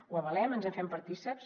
ho avalem ens en fem partícips